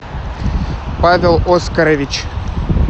павел оскарович